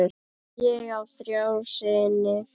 Ég á þrjá syni.